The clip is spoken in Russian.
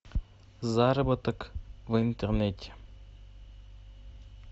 заработок в интернете